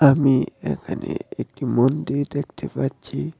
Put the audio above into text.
আমি এ এ এ একটি মন্দির দেখতে পাচ্ছি।